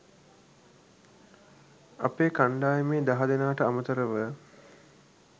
අපේ කණ්ඩායමේ දහ දෙනාට අමතරව